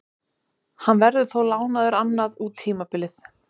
Hann verður þó lánaður annað út tímabilið.